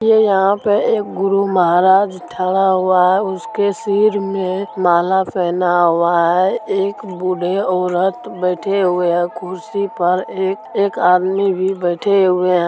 यह यहाँ पर एक गुरु महाराज थाड़ा हुआ है उसके सिर में माला पहना हुआ है एक बूढ़े औरत बैठे हुए हैं कुर्सी पर एक-एक आदमी भी बैठे हुए-